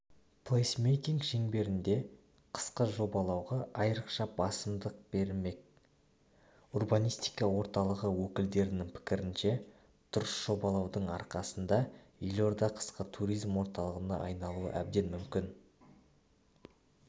плейсмейкинг шеңберінде қысқы жобалауға айрықша басымдық берілмек урбанистика орталығы өкілдерінің пікірінше дұрыс жобалаудың арқасында елорда қысқы туризм орталығына айналуы әбден мүмкін